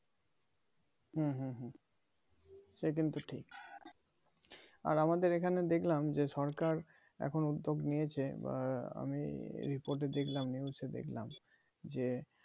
হুম হুম হুম সে কিন্তু ঠিক আর আমাদের এখানে দেখলাম যে সরকার এখন উদ্যোগ নিয়েছে বা আমি রিপো তে দেখলাম news এ দেখলাম যে